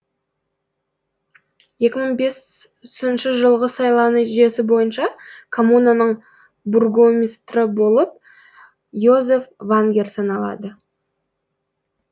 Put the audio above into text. екі мың бес інші жылғы сайлау нәтижесі бойынша коммунаның бургомистрі болып йозеф вагнер саналады